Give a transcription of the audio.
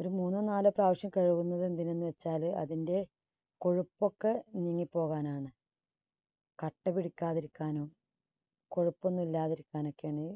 ഒരു മൂന്നോ നാലോ പ്രാവശ്യം കഴുകുന്നത് എന്തിനെന്ന് വെച്ചാല് അതിന്റെ കൊഴുപ്പൊക്കെ നീങ്ങി പോകാനാണ്. കട്ടപിടിക്കാതിരിക്കാനും കൊഴുപ്പൊന്നും ഇല്ലാതിരിക്കാനൊക്കെയാണ്.